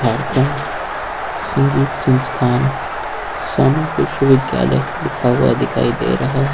भातखंड संगीत संस्थान समविश्वविद्यालय लिखा हुआ दिखाई दे रहा है।